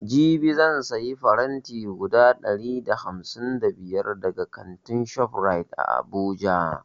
Jibi zan sayi faranti guda ɗari da hamsin da biyar daga kantin shoprite a abuja